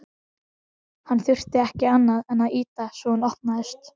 Hann þurfti ekki annað en ýta á svo hún opnaðist.